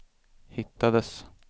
hittades